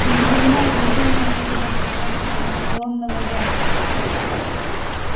я не понимаю значения этого трансформационного ряда